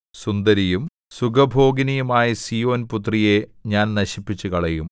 സുന്ദരിയും സുഖഭോഗിനിയുമായ സീയോൻപുത്രിയെ ഞാൻ നശിപ്പിച്ചുകളയും